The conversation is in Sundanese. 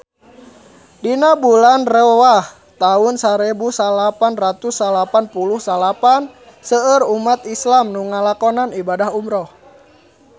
Dina bulan Rewah taun sarebu salapan ratus salapan puluh salapan seueur umat islam nu ngalakonan ibadah umrah